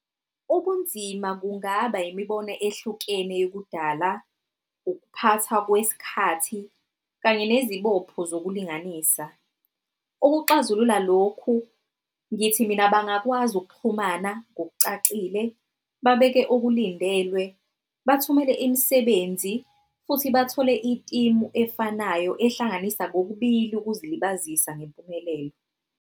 Ukunzima kungaba imibono ehlukene yokudala, ukuphatha kwesikhathi kanye nezibopho zokulinganisa. Ukuxazulula lokhu, ngithi mina, bangakwazi ukuxhumana ngokucacile, babeke okulindelwe, bathumele imisebenzi, futhi bathole i-team efanayo ehlanganisa kokubili ngokuzilibazisa ngempumelelo.